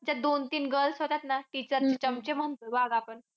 ते दोन-तीन girls होत्या ना. Teachers चे चमचे म्हणून वाग आपण.